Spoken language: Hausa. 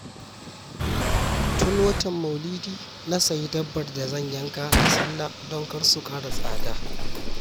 Tun watan maulidi na sayi dabbar da zan yanka da sallah don kar su ƙara tsada